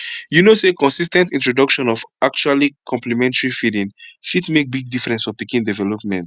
u no say consis ten t introduction of actually complementary feeding fit make big difference for pikin development